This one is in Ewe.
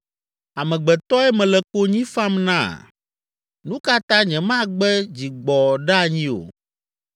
“Amegbetɔe mele konyi fam na? Nu ka ta nyemagbe dzigbɔɖeanyi o?